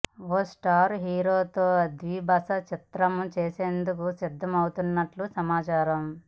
ఓ star హీరోతో ద్విభాషా చిత్రం చేసేందుకు సిద్ధం అవుతున్నట్లు సమాచారం